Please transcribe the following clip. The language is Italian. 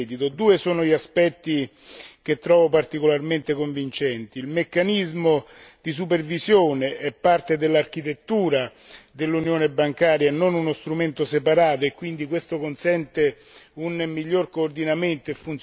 Due sono gli aspetti che trovo particolarmente convincenti il meccanismo di supervisione è parte dell'architettura dell'unione bancaria e non uno strumento separato e quindi questo consente un miglior coordinamento e funzionalità